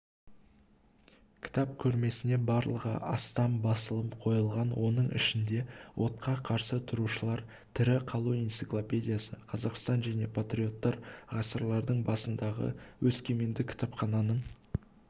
кітап көрмесіне барлығы астам басылым қойылған оның ішінде отқа қарсы тұрушылар тірі қалу энциклопедиясы қазақстан және патриоттар ғасырлардың басындағы өскемендік кітапхананың